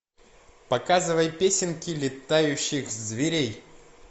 показывай песенки летающих зверей